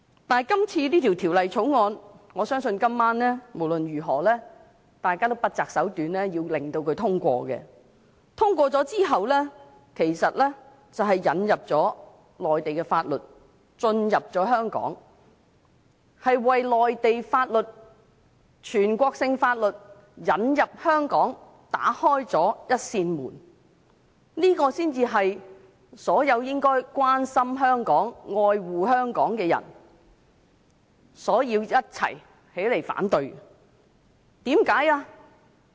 但是，我相信就這項《條例草案》，今晚大家也會不擇手段地讓它獲得通過，在它通過之後，其實是把內地法律引入香港，為內地法律、全國性法律引入香港打開了一扇門，這才是所有應該關心香港、愛護香港的人需要群起反對的，為甚麼呢？